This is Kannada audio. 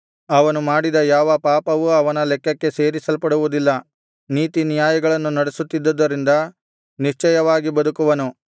ಅವನು ಮಾಡಿದ ಯಾವ ಪಾಪವೂ ಅವನ ಲೆಕ್ಕಕ್ಕೆ ಸೇರಿಸಲ್ಪಡುವುದಿಲ್ಲ ನೀತಿನ್ಯಾಯಗಳನ್ನು ನಡೆಸುತ್ತಿದ್ದುದರಿಂದ ನಿಶ್ಚಯವಾಗಿ ಬದುಕುವನು